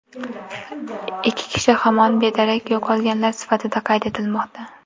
Ikki kishi hamon bedarak yo‘qolganlar sifatida qayd etilmoqda.